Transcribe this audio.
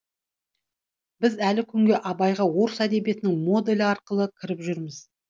біз әлі күнге абайға орыс әдебиетінің моделі арқылы кіріп жүрміз